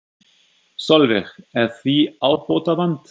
Sólveig: Er því ábótavant?